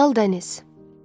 Lal Dəniz.